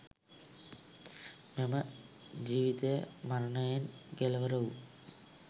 මෙම ජීවිතය මරණයෙන් කෙළවර වූ